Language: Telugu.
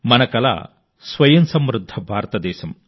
మనం కలిసి ఆ కలను నెరవేర్చుకుందాం